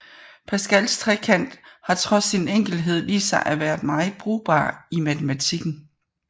Pascals trekant har trods sin enkelhed vist sig at være meget brugbar i matematikken